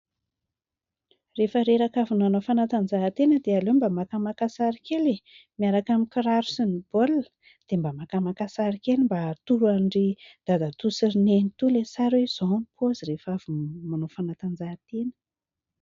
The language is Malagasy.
Rehefa reraka avy nanao fanatanjahantena dia aleo mba makamaka sary kely e ! Miaraka amin'ny kiraro sy ny baolina, dia mba makamaka sary kely mba hatoro an'i ry Dadatoa sy ry Nenitoa ilay sary hoe izao ny paozy rehefa avy manao fanatanjahantena.